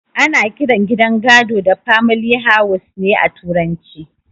Ana kiran gidan gado da famili haus ne a turance